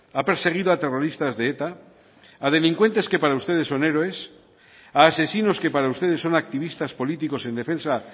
ha perseguido a terroristas de eta a delincuentes que para ustedes son héroes a asesinos que para ustedes son activistas políticos en defensa